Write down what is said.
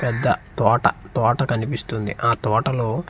పెద్ద తోట తోట కనిపిస్తుంది ఆ తోటలో--